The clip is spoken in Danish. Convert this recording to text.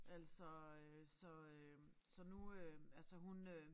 Altså øh så øh så nu øh altså hun øh